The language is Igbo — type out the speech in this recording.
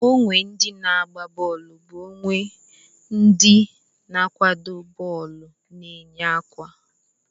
Uwe ndị na-agba bọọlu bụ uwe ndị n'akwado bọọlụ na-eyi kwa.